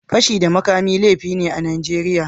Fashi da makami laifi ne a Najeriya.